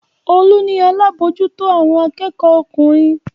Olú ni alábòójútó àwọn akẹ́kọ̀ọ́ ọkùnrin.